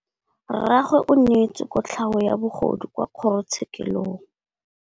Rragwe o neetswe kotlhaô ya bogodu kwa kgoro tshêkêlông.